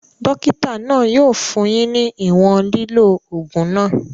Dókítà náà yóò fún yín ní ìwòn lílò ògùn náà